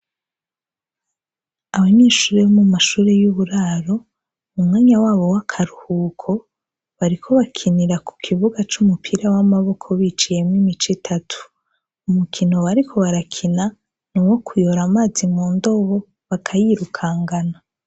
Abanyeshure bo mu mashure y'uburaro, n'umwanya wabo w'akaruhuko .Bariko bakinira ku kibuga c'umupira w'amaboko biciyemwo imice itatu. Umukino bariko barakina nuwo kuyora amazi mu ndobo bakayirukankana .